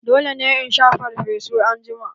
Dole ne in sha farfesu anjima!